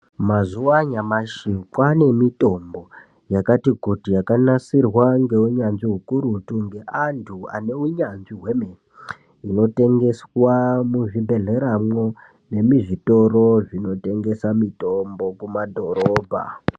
Mazuva anyamashi kwaane mitombo yakati kuti yakanasirwa ngeunyanzvi ukurutu ngeantu ane unyanzvi hwemene, inotengeswa muzvibhedhleramwo nemuzvitoro zvinotengese mitombo kumadhorobha.